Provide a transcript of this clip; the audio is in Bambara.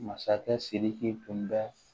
Masakɛ sidiki tun bɛ